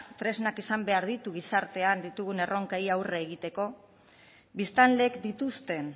tresnak izan behar ditu gizartean ditugun erronkei aurre egiteko biztanleek dituzten